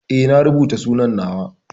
Eh na rubuta sunan na wa.